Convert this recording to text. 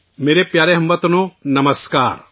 میرے پیارے ہم وطنوں، نمسکار